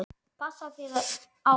Passaðu þig á honum.